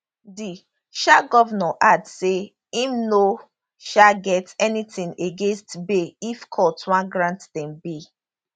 di um govnor add say im no um get anytin against bail if court wan grant dem bail